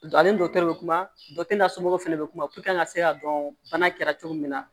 Ale ni be kuma n'a somɔgɔw fɛnɛ be kuma ka se k'a dɔn bana kɛra cogo min na